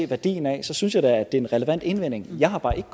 værdien af det så synes jeg da det er en relevant indvending jeg har bare ikke